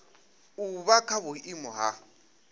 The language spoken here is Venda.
u vha kha vhuiimo ha